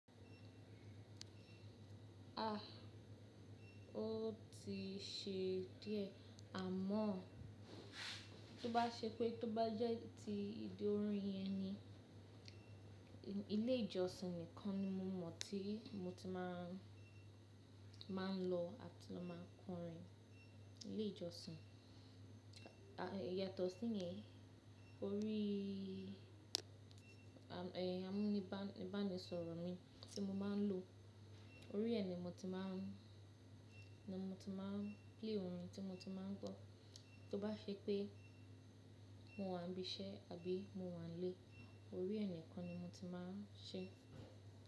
Ah, o ti ṣe díẹ̀ àmọ́ tó bá ṣe pé tó bá jẹ́ ti ìdí orin yẹn ni ilé ìjọsìn nìkan ni mo mọ̀ tí mo ti máa ń lọ àti lọ máa kọrin. Ilé ìjọsìn. Yàtọ̀ sí yẹn, orí am- ẹh, amúnibánisọ̀rọ̀ mi tí mo máa ń lò, orí ẹ ni mo ti máa ń, ni mo ti máa ń play orin tí mo ti máa ń gbọ́. Tó bá ṣe pé mo wà níbi iṣẹ́ àbí mo wà nílé, orí ẹ nìkan ni mo ti máa ń ṣe.